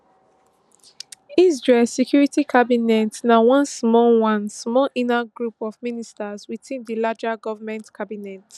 israel security cabinet na one small one small inner group of ministers within di larger goment cabinet